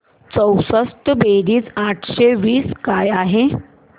चौसष्ट बेरीज आठशे वीस काय आहे